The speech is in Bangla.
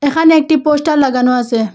এখানে একটি পোস্টার লাগানো আসে।